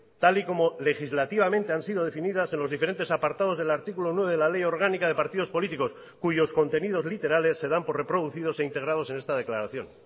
tal y como legislativamente han sido definidas en los diferentes apartados del artículo nueve de la ley orgánica de partidos políticos cuyos contenidos literales se dan por reproducidos e integrados en esta declaración